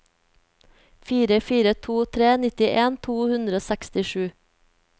fire fire to tre nittien to hundre og sekstisju